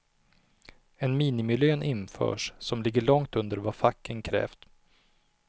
En minimilön införs som ligger långt under vad facken krävt.